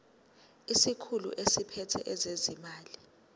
isikhulu esiphethe ezezimali